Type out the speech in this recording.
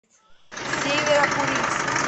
северо курильск